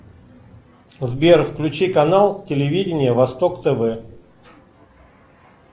сбер включи канал телевидение восток тв